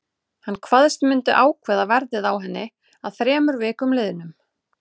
Hann kvaðst myndu ákveða verðið á henni að þremur vikum liðnum.